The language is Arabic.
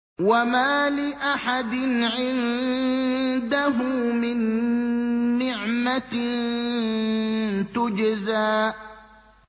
وَمَا لِأَحَدٍ عِندَهُ مِن نِّعْمَةٍ تُجْزَىٰ